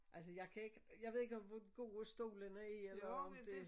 Altså jeg kan ik jeg ved ikke om hvor gode stolene er eller om det